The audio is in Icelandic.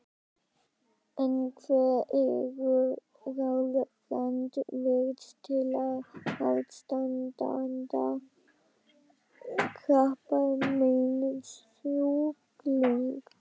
En hver eru ráð Randvers til aðstandanda krabbameinssjúklinga?